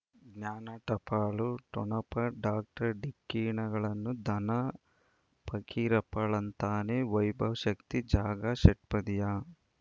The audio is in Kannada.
ಜ್ಞಾನ ಟಪಾಲು ಠೊಣಪ ಡಾಕ್ಟರ್ ಢಿಕ್ಕಿ ಣಗಳನು ಧನ ಫಕೀರಪ್ಪ ಳಂತಾನೆ ವೈಭವ್ ಶಕ್ತಿ ಝಗಾ ಷಟ್ಪದಿಯ